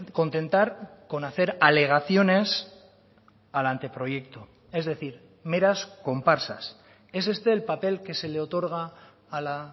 contentar con hacer alegaciones al anteproyecto es decir meras comparsas es este el papel que se le otorga a la